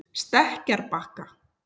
Stekkjarbakka